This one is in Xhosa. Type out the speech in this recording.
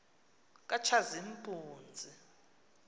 katshazimpunzi